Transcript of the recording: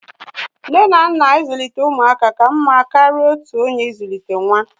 Nne na nna ịzụlite ụmụaka ka mma karịa otu onye ịzụlite nwa